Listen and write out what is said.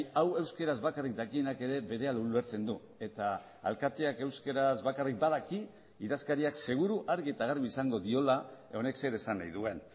hau euskaraz bakarrik dakienak ere berehala ulertzen du eta alkateak euskaraz bakarrik badaki idazkariak seguru argi eta garbi esango diola honek zer esan nahi duen